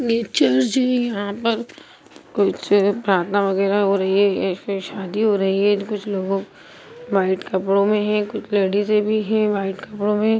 यहां पर कुछ प्राथना वगैरहा हो रही है या फिर शादी हो रही है कुछ लोग वाइट कपड़ों में है कुछ लेडिसे भी है वाइट कपड़ों में।